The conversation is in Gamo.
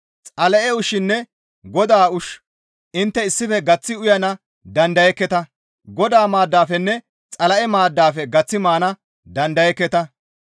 Xala7e ushshinne Godaa ushshu intte issife gaththi uyana dandayekketa; Godaa maaddafenne Xala7e maaddafe gaththi maana dandayekketa.